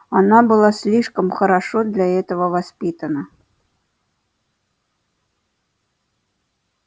она была слишком хорошо для этого воспитана